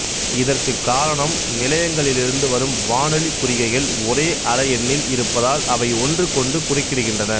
இதற்கு காரணம் நிலையங்களிலிருந்து வரும் வானொலிக் குறிகைகள் ஒரே அலையெண்ணில் இருப்பதால் அவை ஒன்றுக்கொன்று குறுக்கிடுகின்றன